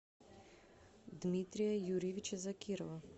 дмитрия юрьевича закирова